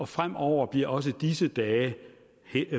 fremover bliver også disse dage